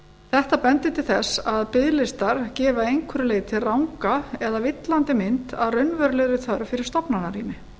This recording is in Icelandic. þetta bendir til þess að biðlistar gefa að einhverju leyti eða villandi mynd af raunverulegri þörf fyrir stofnanarými